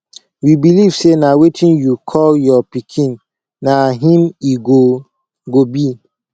we believe say na wetin yiu call your pikin na im he go go be